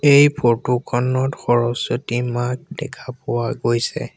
এই ফটো খনত সৰস্বতী মাক দেখা পোৱা গৈছে।